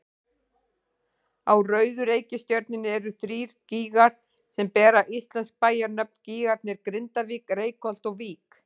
Á rauðu reikistjörnunni eru þrír gígar sem bera íslensk bæjarnöfn, gígarnir Grindavík, Reykholt og Vík.